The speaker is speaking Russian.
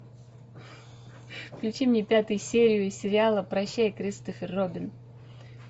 включи мне пятую серию сериала прощай кристофер робин